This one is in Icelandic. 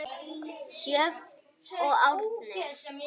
Sjöfn og Árni.